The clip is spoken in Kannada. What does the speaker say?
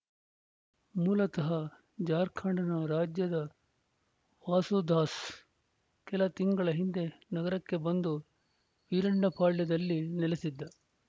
ಮೂಲತಃ ಜಾರ್ಖಂಡ್‌ನ ರಾಜ್ಯದ ವಾಸುದಾಸ್‌ ಕೆಲ ತಿಂಗಳ ಹಿಂದೆ ನಗರಕ್ಕೆ ಬಂದು ವೀರಣ್ಣಪಾಳ್ಯದಲ್ಲಿ ನೆಲೆಸಿದ್ದ